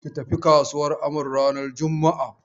Ki tafi kasuwan Amaru ranar juma'a.